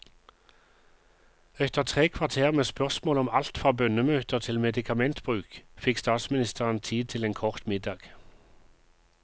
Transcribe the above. Etter tre kvarter med spørsmål om alt fra bønnemøter til medikamentbruk, fikk statsministeren tid til en kort middag.